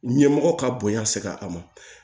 Ɲɛmɔgɔ ka bonya seg'a ma